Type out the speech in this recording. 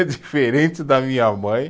É diferente da minha mãe.